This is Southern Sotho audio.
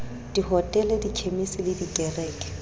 dihotele dikhemisi le dikereke a